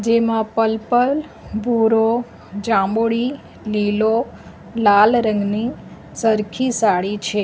એમાં પલપલ ભૂરો જાંબુડી લીલો લાલ રંગની સરખી સાડી છે.